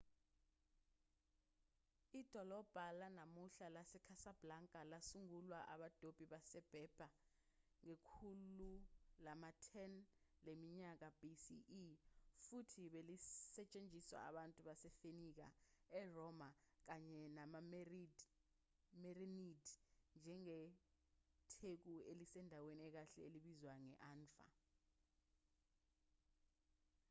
idolobha lanamuhla lasecasablanca lasungulwa abadobi baseberber ngekhulu lama-10 leminyaka bce futhi belisetshenziswa abantu basefenike eroma kanye namamerenid njengetheku elisendaweni ekahle elibizwa nge-anfa